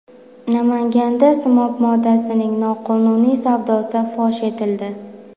Namanganda simob moddasining noqonuniy savdosi fosh etildi.